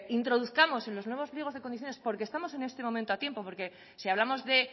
introduzcamos en los nuevos pliegos de condiciones porque estamos en este momento a tiempo porque si hablamos de